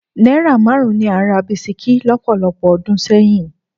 Náírà márùn-ún ni à ń ra bisikí lọ́pọ̀lọpọ̀ ọdún sẹ́yìn.